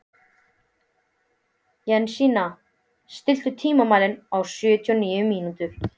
Jensína, stilltu tímamælinn á sjötíu og níu mínútur.